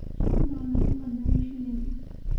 shan dollar u beddelo shilin